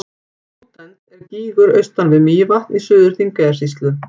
Lúdent er gígur austan við Mývatn í Suður-Þingeyjarsýslu.